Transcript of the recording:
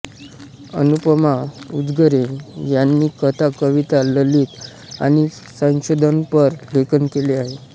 अनुपमा उजगरे यांनी कथा कविता ललित आणि संशोधनपर लेखन केले आहे